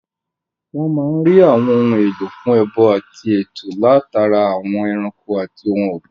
Wọ́n máa n rí àwọn ohun èlò fún ẹbọ àti ètò látara àwọn ẹranko àti ohun ògbìn